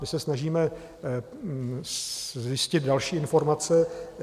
My se snažíme zjistit další informace.